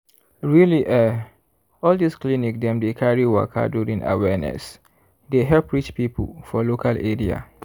really eh all this clinic dem dey carry waka during awareness dey help reach people for local area.